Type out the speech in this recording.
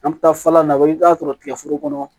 An bɛ taa fala na i bɛ taa sɔrɔ tigɛforo kɔnɔ